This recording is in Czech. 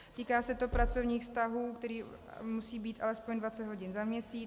Týká se to pracovních vztahů, které musí být alespoň 20 hodin za měsíc.